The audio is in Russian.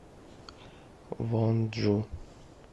вонджу